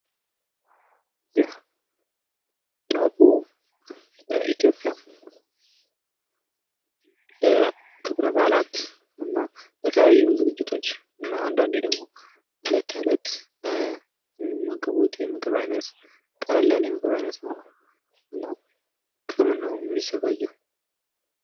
ይህ ዳቦ በኢትዮጵያ ለክብረ-በዓላትና ለተለያዩ ዝግጅቶች እና አንዳንዴ ደግሞ ለእለት ተእለት ለሚመገቡት የምግብ አይነት ቀለል ያለ የምግብ አይነት ነው። እና ከምን ነው የሚዘጋጀው?